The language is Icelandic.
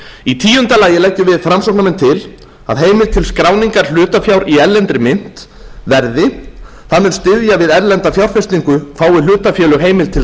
í tíunda lagi leggjum við framsóknarmenn til að heimild til skráningar hlutafjár í erlendri mynt verði það mun styðja við erlenda fjárfestingu fái hlutafélög heimild til